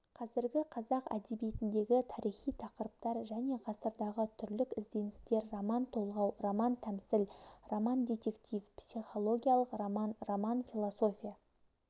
қазіргі қазақ әдебиетіндегі тарихи тақырыптар және ғасырдағы түрлік ізденістер роман-толғау роман-тәмсіл романдетектив психологиялық роман роман философия